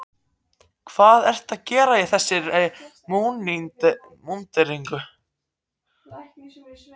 Hvað ertu að gera í þessari múnderingu?